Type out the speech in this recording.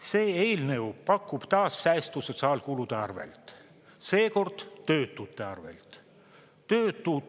See eelnõu pakub taas säästu sotsiaalkulude arvelt, seekord töötute arvelt.